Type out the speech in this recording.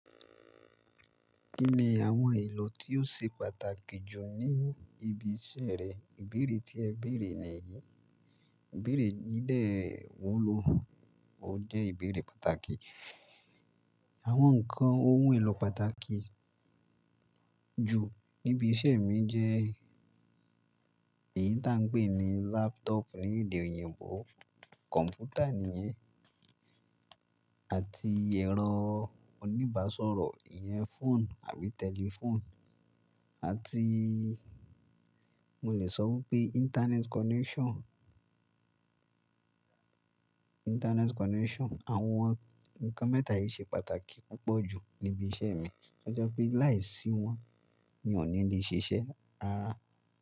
Kí ni àwọn ohun èlò tí ó ṣe pàtàkì jù ní ibi iṣẹ́ rẹ? Ìbéèrè tí ẹ béèrè nìyí. Ìbéèrè yìí dẹ wòó ló, ó jẹ́ ìbéèrè pàtàkì. Àwọn nǹkan ohun èlò pàtàkì jù níbi iṣẹ́ mi jẹ́ èyí tí à ń pè ní laptop ní èdè òyìnbó, kọ̀m̀pútà nìyẹn, àti ẹ̀rọ oníbàsọ̀rọ̀ ìyẹn phone àbí telephone, àti mo lè sọ wí pé internet connection. Internet connection. Àwọn nǹkan mẹ́ta yìí ṣe pàtàkì púpọ̀ jù níbi iṣẹ́ mi. Ó je pé láìsí wọn mi ò ní lè ṣiṣẹ́ rárá.